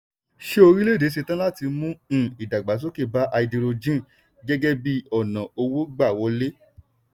ṣé orílẹ̀ èdè ṣetán láti mú um ìdàgbàsókè bá háídírójìn gẹ́gẹ́ bí ọ̀nà owó gbà wọlé?